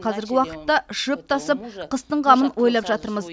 қазіргі уақытта шөп тасып қыстың қамын ойлап жатырмыз